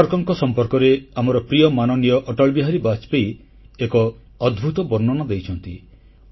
ସାବରକରଙ୍କ ସମ୍ପର୍କରେ ଆମର ପ୍ରିୟ ମାନନୀୟ ଅଟଳବିହାରୀ ବାଜପେୟୀ ଏକ ଅଦ୍ଭୁତ ବର୍ଣ୍ଣନା ଦେଇଛନ୍ତି